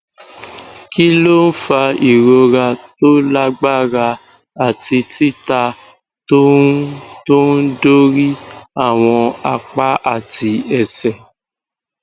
kí ló ń fa ìrora tó lágbára àti titá tó ń tó ń dorí àwọn apá àti ẹsẹ